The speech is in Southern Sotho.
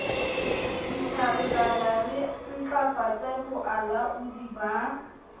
ditjhankana re ntlafatse boalaodi ba